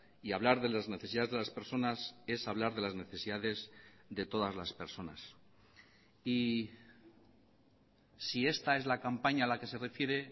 y hablar de las necesidades de las personas es hablar de las necesidades de todas las personas y si esta es la campaña a la que se refiere